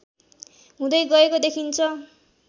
हुँदै गएको देखिन्छ